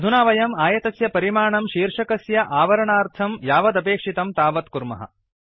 अधुना वयम् आयतस्य परिमाणं शीर्षकस्य आवरणार्थं यावदपेक्षितं तावत् कुर्मः